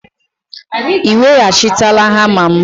Ị weghachitela hama m?